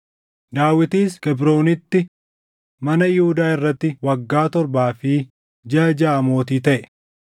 Daawitis Kebroonitti mana Yihuudaa irratti waggaa torbaa fi jiʼa jaʼa mootii taʼe.